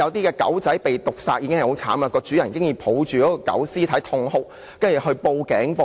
狗隻被毒殺十分悲慘，那名飼主抱着狗屍痛哭，然後向警方報案。